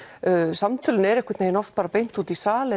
samtölin eru einhvern veginn oft bara beint út í sal